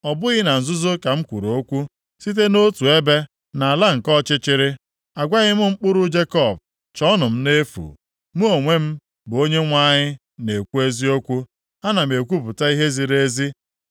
Ọ bụghị na nzuzo ka m kwuru okwu, site nʼotu ebe nʼala nke ọchịchịrị. Agwaghị m mkpụrụ Jekọb ‘Chọọnụ m nʼefu.’ Mụ onwe m, bụ Onyenwe anyị na-ekwu eziokwu, Ana m ekwupụta ihe ziri ezi.